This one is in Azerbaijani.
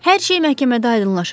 Hər şey məhkəmədə aydınlaşacaq.